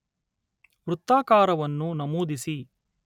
ವೃತ್ತಾಕಾರವನ್ನು ನಮೂದಿಸಿ